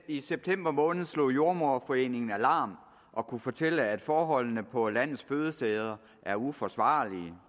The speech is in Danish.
i september måned slog jordemoderforeningen alarm og kunne fortælle at forholdene på landets fødesteder er uforsvarlige